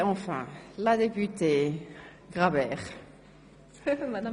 Wir kommen zu den Einzelsprechenden.